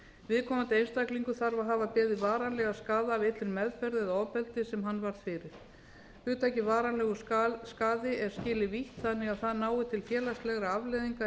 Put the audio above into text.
viðkomandi einstaklingur þarf að hafa beðið varanlegan skaða af illri meðferð eða ofbeldi sem hann varð fyrir hugtakið varanlegur skaði er skilið vítt þannig að það nái til félagslegra faleiðina